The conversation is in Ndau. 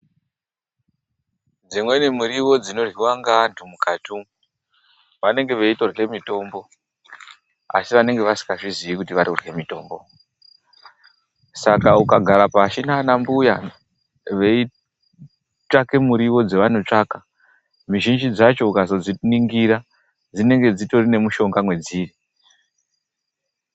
Dzimweni miriwo dzinoryiwa ngevanhu mukati umwu vanenge veitorya mitombo, asi vanenge vasikazvizii kuti varikurya mitombo. Saka ukagara pashi naanambuya veitsvake miriwo dzevanotsvaka, mizhinji dzacho ukazodziningira, dzinenge dzitori nemishonga mwedziri.